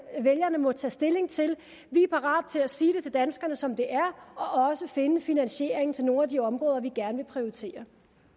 vælgerne må tage stilling til vi er parate til at sige danskerne som det er og også finde finansieringen til nogle af de områder vi gerne vil prioritere